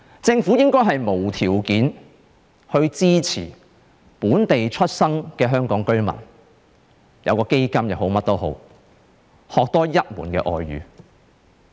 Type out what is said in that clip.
政府應該無條件地支持本地出生的香港居民，例如增設一個基金，讓他們學習多一種外語。